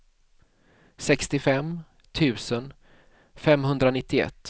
sextiofem tusen femhundranittioett